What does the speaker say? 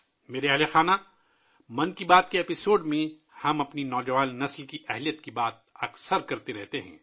میرے پریوار جنوں ، 'من کی بات' کے ایپی سوڈ میں، ہم اکثر اپنی نوجوان نسل کی صلاحیتوں پر بات کرتے ہیں